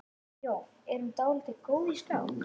Jón: Er hún dálítið góð í skák?